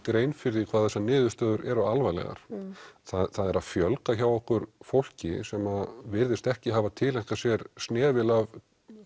grein fyrir því hvað þessar niðurstöður eru alvarlegar það er að fjölga hjá okkur fólki sem virðist ekki hafa tileinkað sér snefil af